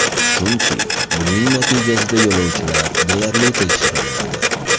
Chunki buning natijasida yo‘lovchilar deyarli tekshirilmadi.